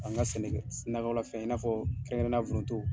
An ka sɛnɛ kɛ, nakɔla fɛn i n'a fɔ kɛrɛnkɛrɛnnenyala foronto.